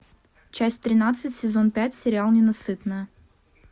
часть тринадцать сезон пять сериал ненасытная